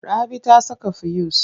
Rabi ta saka fuyus.